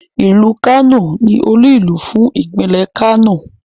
Ìlú Kano ni olú-ìlú fún Ìpínlẹ̀ Kano.